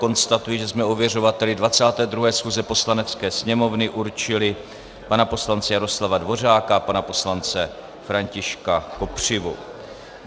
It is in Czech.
Konstatuji, že jsme ověřovateli 22. schůze Poslanecké sněmovny určili pana poslance Jaroslava Dvořáka a pana poslance Františka Kopřivu.